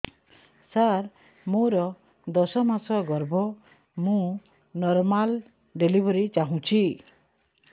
ସାର ମୋର ଦଶ ମାସ ଗର୍ଭ ମୁ ନର୍ମାଲ ଡେଲିଭରୀ ଚାହୁଁଛି